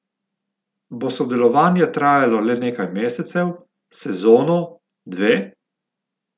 Bo sodelovanje trajalo le nekaj mesecev, sezono, dve?